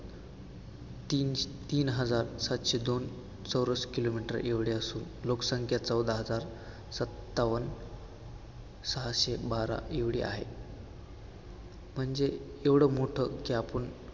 तीन तीन हजार सातशे दोन चौरस kilometer एवढे असून लोकसंख्या चौदा हजार सत्तावन्न सहाशे बारा एवढी आहे, म्हणजे एवढं मोठं की आपण